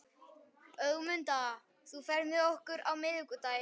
Ögmunda, ferð þú með okkur á miðvikudaginn?